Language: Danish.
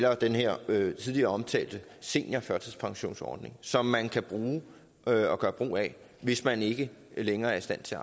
og den her tidligere omtalte seniorførtidspensionsordning som man kan gøre brug af hvis man ikke længere er i stand til